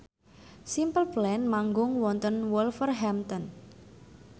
Simple Plan manggung wonten Wolverhampton